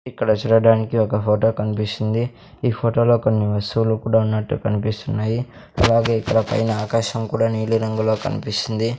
ఇక్కడ చూడడానికి ఒక ఫోటో కన్పిస్తుంది ఈ ఫొటో లో కొన్ని వస్తువులు కూడా ఉన్నట్టు కనిపిస్తున్నాయి అలాగే ఇక్కడ పైన ఆకాశం కూడా నీలి రంగులో కనిపిస్తుంది.